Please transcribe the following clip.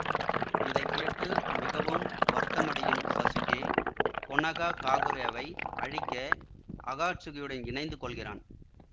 இதை கேட்டு மிகவும் வருத்தமடையும் சசுகே கொனாஹாகாகுரேவை அழிக்க அகாட்சுகியுடன் இணைந்து கொள்கிறான்